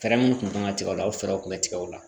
Fɛɛrɛ minnu kun kan ka tigɛ o la o fɛɛrɛ kun bɛ tigɛ o la